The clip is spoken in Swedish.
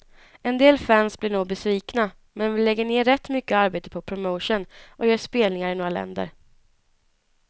En del fans blir nog besvikna, men vi lägger ner rätt mycket arbete på promotion och gör spelningar i några länder.